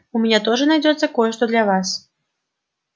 у меня тоже найдётся кое-что для вас